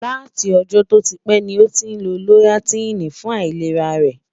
látí ọ̀jó tó típè ní ọ tín ló loratidini fún àìlèrá rè